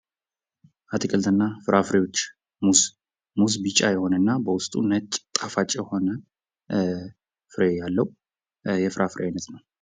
አትክልትና ፍራፍሬዎች ሙዝ ሙዝ ቢጫ የሆነና በውስጥም ነጭ ጣፋጭ የሆነ ፍሬ ያለው የፍራ ፍሬ አይነት ነው ::